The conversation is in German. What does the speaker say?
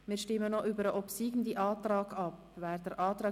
Wir stimmen über den obsiegenden Antrag